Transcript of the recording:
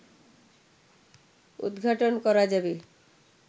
উদঘাটন করা যাবে